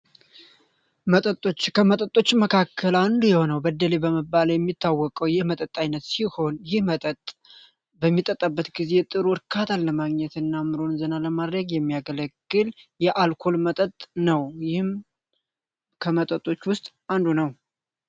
መጠጦች ከመጠጦች መካከል አንዱ የሆነው በደሌ በመባል የሚታወቀው ይህ መጠጥ ዓይነት ሲሆን ይህ መጠጥ በሚጠጣበት ጊዜ ጥሩ እርካትን ለማግኘት እና ምሮን ዝና ለማድረግ የሚያገለግል የአልኮል መጠጥ ነው። ይህም ከመጠጦች ውስጥ አንዱ ነው።